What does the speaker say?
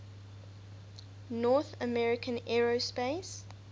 north american aerospace